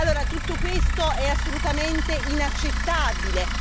Allora, tutto questo è assolutamente inaccettabile.